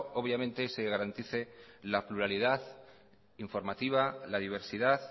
se garantice la pluralidad informativa la diversidad